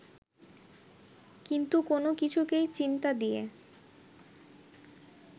কিন্তু কোন কিছুকেই চিন্তা দিয়ে